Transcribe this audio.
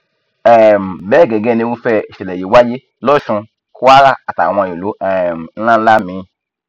um bẹẹ gẹgẹ nìrúfẹ ìṣẹlẹ yìí wáyé losun kwara àtàwọn ìlú um ńlá ńlá míín